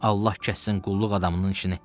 Allah kəssin qulluq adamının işini.